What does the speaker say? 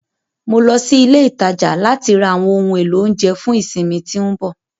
Mo lọ sí ilé ìtajà láti ra àwọn ohun èlò oúnjẹ fún ìsinmi tí ń bọ̀.